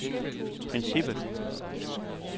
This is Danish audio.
princippet